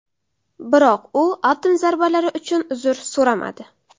Biroq u atom zarbalari uchun uzr so‘ramadi.